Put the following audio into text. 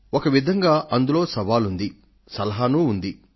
ఒక విధంగా అందులో సవాల్ ఉంది సలహా ఉంది